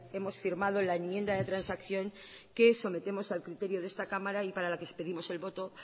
hemos firmado la enmienda de transacción que sometemos al criterio de esta cámara y para la que os pedimos el voto